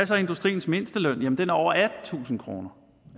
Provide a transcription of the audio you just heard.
så industriens mindsteløn jamen den er over attentusind kroner